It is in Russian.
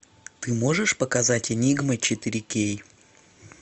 ты можешь показать энигма четыре кей